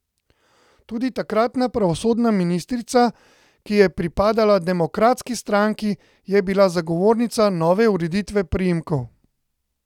Tudi takratna pravosodna ministrica, ki je pripadala demokratski stranki, je bila zagovornica nove ureditve priimkov.